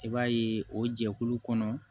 I b'a ye o jɛkulu kɔnɔ